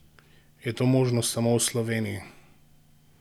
Je to možno samo v Sloveniji?